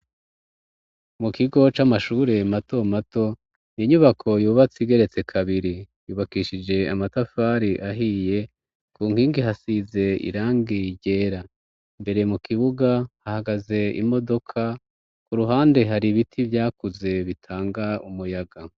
Mu kigo c'amashure mato mato, inyubako yubatse igeretse kabiri. Yubakishije amatafari ahiye, ku nkingi hasize irangi ryera. Imbere mu kibuga hahagaze imodoka, ku ruhande hari ibiti vyakuze bitanga umuyaga.